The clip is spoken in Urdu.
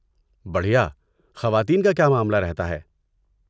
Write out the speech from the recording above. بڑھیا۔ خواتین کا کیا معاملہ رہتا ہے؟